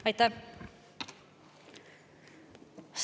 Aitäh!